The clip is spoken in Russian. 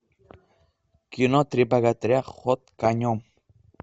кино три богатыря ход конем